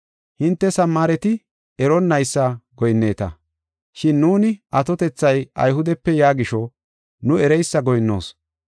Hinte Samaareti eronnaysa goyinneta. Shin nuuni atotethay Ayhudepe yaa gisho nu ereysa goyinnoos.